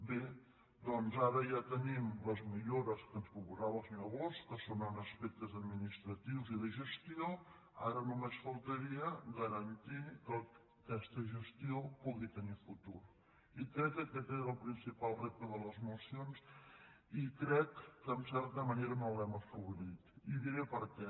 bé doncs ara ja tenim les millores que ens proposava el senyor bosch que són en aspectes administratius i de gestió ara només faltaria garantir que aquesta gestió pugui tenir futur i crec que aquest és el principal repte de les mocions i crec que en certa manera no l’hem assolit i diré per què